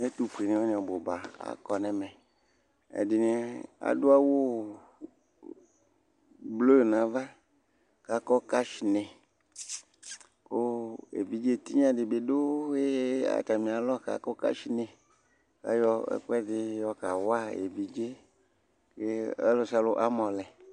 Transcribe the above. ɛtufue ni wani ɔbu ba akɔ n'ɛmɛ ɛdi adu awu blu n'ava k'akɔ kashnɛ kò evidze tinya di bi do atami alɔ k'akɔ kashnɛ k'ayɔ ɛkò ɛdi yɔ ka wa evidze yɛ k'ɔlò sia lò amɔ lɛ